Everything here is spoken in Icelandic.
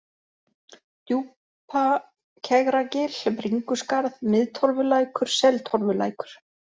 Djúpakegragil, Bringuskarð, Miðtorfulækur, Seltorfulækur